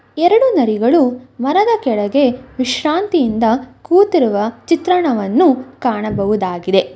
ಎರಡು ನರಿಗಳು ಮರದ ಕೆಳಗೆ ವಿಶ್ರಾಂತಿಯಿಂದ ಕೂತಿರುವ ಚಿತ್ರಣವನ್ನು ಕಾಣಬಹುದಾಗಿದೆ.